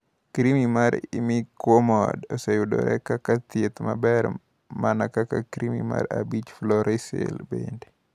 Krim mar imiquimod oseyudore kaka thieth maber, mana kaka krim mar 5 fluorouracil bende.